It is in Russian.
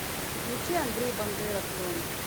включи андрей бандера клен